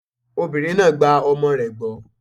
Obìnrin náà gba ọmọ rẹ̀ gbọ́.